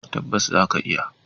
Tabbas za ka iya.